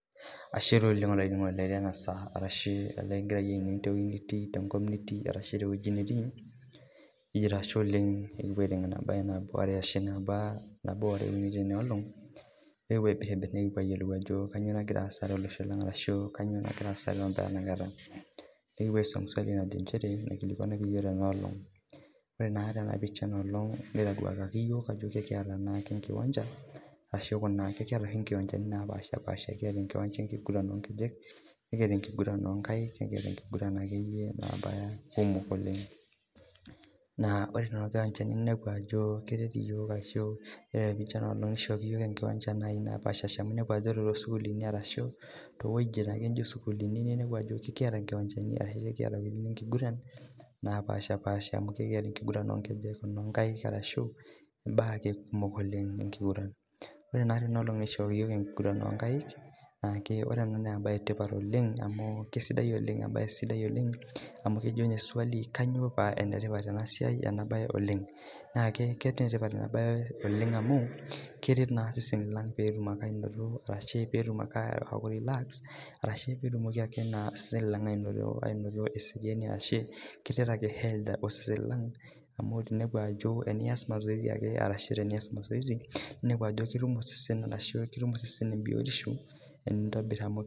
Ashe taa olaininingoni loi lenasaa likimgira ainining tewoi nitii kijito ashe oleng kipuo aitengena mbaa are ashu uni tenaolong nekipuo ayilou ajo kanyio nagira aasa tenewueji nikipuo aijibu swalu naikilikwanaki yiok tenaolong ore tenapisha enaalong nitaduakaki yiok ajo ekiata oshi nkiwanjani napaasha kiata enkiwanja enkiguran onkejek nikiata enenkiguran onkaik ekiata akeyie enkiguran nabaya kumok oleng naa ore na inepu ajo kepaaha amu ore tosukulini araahu towuejitin naijo sukulini na ekiata nkiwanjani enkiguran napaasha enkiguran onkaik onkejek arashu enkiguran onkaik neaku ore embae etipat oleng na kesidai embae sidai oleng amu kejo swali kanyio pa enetipat enasiai oleng na enetipat enabae oleng amu keret na seseni lang petumoki ake ainoto eseriani amu tenias mazoezi na ketuk osesen biotisho tenitobiri